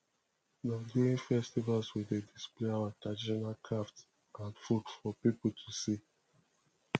na during festivals we dey display our traditional crafts and food for people to see